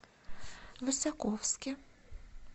высоковске